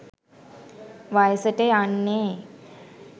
වයසට යන්නේ